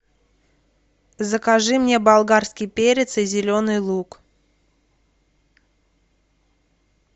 закажи мне болгарский перец и зеленый лук